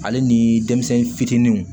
Ale ni denmisɛnnin fitininw